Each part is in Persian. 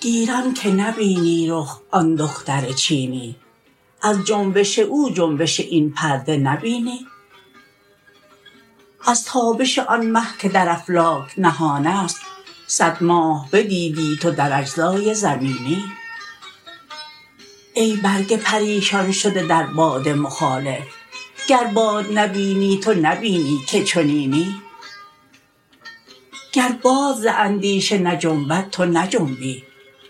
گیرم که نبینی رخ آن دختر چینی از جنبش او جنبش این پرده نبینی از تابش آن مه که در افلاک نهان است صد ماه بدیدی تو در اجزای زمینی ای برگ پریشان شده در باد مخالف گر باد نبینی تو نبینی که چنینی گر باد ز اندیشه نجنبد تو نجنبی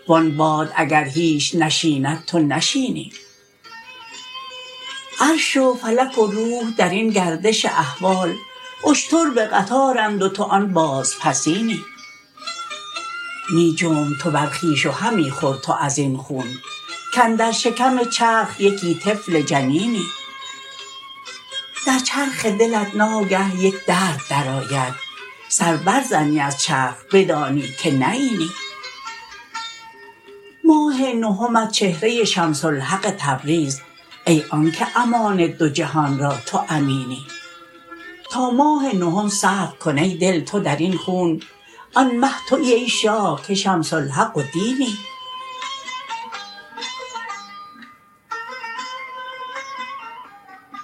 و آن باد اگر هیچ نشیند تو نشینی عرش و فلک و روح در این گردش احوال اشتر به قطارند و تو آن بازپسینی می جنب تو بر خویش و همی خور تو از این خون کاندر شکم چرخ یکی طفل جنینی در چرخ دلت ناگه یک درد درآید سر برزنی از چرخ بدانی که نه اینی ماه نهمت چهره شمس الحق تبریز ای آنک امان دو جهان را تو امینی تا ماه نهم صبر کن ای دل تو در این خون آن مه توی ای شاه که شمس الحق و دینی